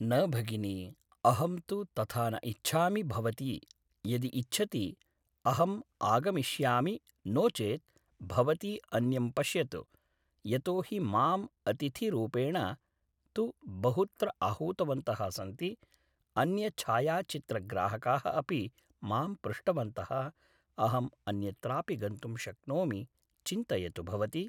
न भगिनि अहं तु तथा न इच्छामि भवती यदि इच्छति अहं आगमिष्यामि नो चेद् भवती अन्यं पश्यतु यतोहि माम् अतिथिरुपेण तु बहुत्र आहूतवन्तः सन्ति अन्यछायाचित्रग्राहकाः अपि मां पृष्टवन्तः अहम् अन्यत्रापि गन्तुं शक्नोमि चिन्तयतु भवती